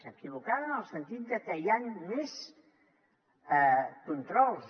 equivocada en el sentit de que hi han més controls